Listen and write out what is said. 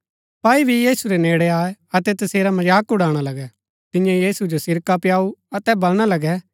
सपाई भी यीशु रै नेड़ै आये अतै तसेरा मजाक उड़ाणा लगै तियें यीशु जो सिरका पिआऊ अतै बलणा लगै